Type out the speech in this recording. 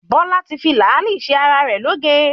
Bọ́lá fi làálì ṣe ara rẹ̀ lóge.